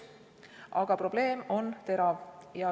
Aga probleem on terav.